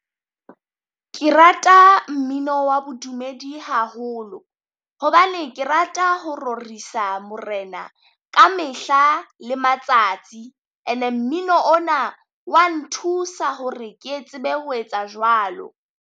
Ke rata mmino wa bodumedi haholo, hobane ke rata ho rorisang morena ka mehla le matsatsi. And-e mmino ona wa nthusa hore ke e tsebe ho etsa jwalo.